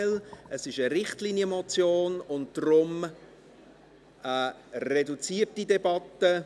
Es ist eine Richtlinienmotion und daher eine reduzierte Debatte.